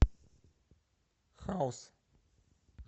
хаус